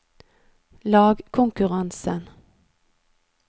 lagkonkurransen